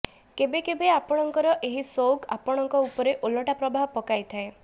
କେବେ କେବେ ଆପଣଙ୍କର ଏହି ସୌକ ଆପଣଙ୍କ ଉପରେ ଓଲଟା ପ୍ରଭାବ ପକାଇଥାଏ